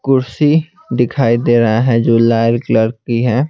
कुर्सी दिखाई दे रहा है जो लाल कलर है।